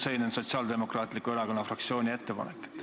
Selline on Sotsiaaldemokraatliku Erakonna fraktsiooni ettepanek.